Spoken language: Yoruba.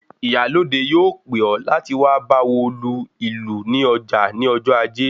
Ìyálóde yóò pè ọ láti wá báwo lu ìlù ní ọjà ní ọjọ ajé